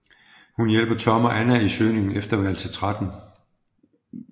Hun hjælper Tom og Anna i søgningen efter værelse 13